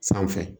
Sanfɛ